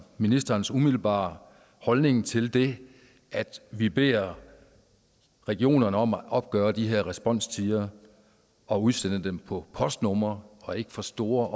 ministerens umiddelbare holdning til det at vi beder regionerne om at opgøre de her responstider og udsende dem på postnumre og ikke for store